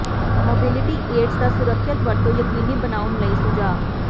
mobility aids ਦਾ ਸੁਰੱਖਿਅਤ ਵਰਤੋਂ ਯਕੀਨੀ ਬਣਾਉਣ ਲਈ ਸੁਝਾਅ